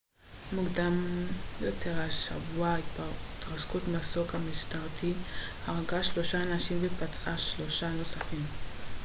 מוקדם יותר השבוע התרסקות מסוק משטרתי הרגה שלושה אנשים ופצעה שלושה נוספים